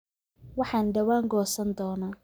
Waxaan dhawaan goosan doonaa